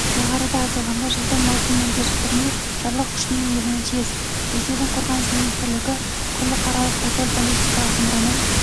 жоғарыда айтылғандай жылдың маусымынан кешіктірмей жарлық күшіне енуі тиіс ресейдің қорғаныс министрлігі құрлықаралық тополь баллистикалық зымыранын